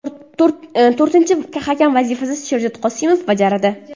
To‘rtinchi hakam vazifasini Sherzod Qosimov bajaradi.